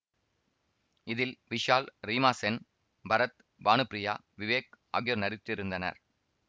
இதில் விஷால் ரீமா சென் பரத் பானுப்பிரியா விவேக் ஆகியோர் நடித்திருந்தனர்